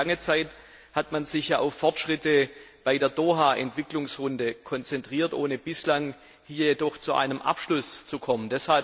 Denn lange Zeit hat man sich ja auf Fortschritte bei der Doha Entwicklungsrunde konzentriert, jedoch ohne bislang hier zu einem Abschluss zu kommen.